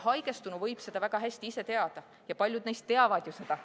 Haigestunu võib seda väga hästi ise teada ja paljud neist ju teavadki seda.